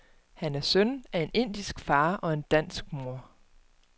Han er søn af en indisk far og en dansk mor.